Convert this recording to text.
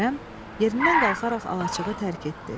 Kərəm yerindən qalxaraq alaçığı tərk etdi.